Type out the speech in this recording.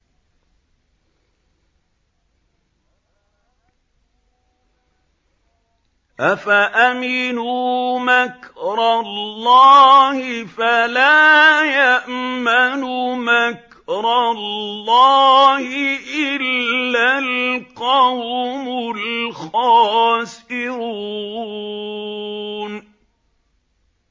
أَفَأَمِنُوا مَكْرَ اللَّهِ ۚ فَلَا يَأْمَنُ مَكْرَ اللَّهِ إِلَّا الْقَوْمُ الْخَاسِرُونَ